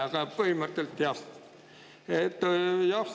Aga põhimõtteliselt jah.